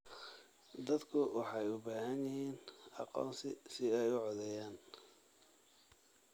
Dadku waxay u baahan yihiin aqoonsi si ay u codeeyaan.